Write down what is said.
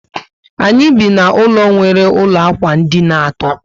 Anyị bi na ụlọ nwere ụlọ ákwà dina àtó